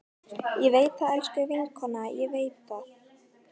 Ég veit það, elsku vinkona, ég veit það.